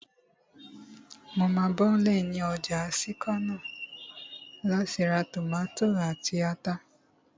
Mo máa bọ́lẹ̀ ní ọjà sẹ́kọ́nà láti ra tòmátò àti ata